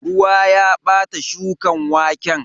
Ruwa ya bata shukan waken.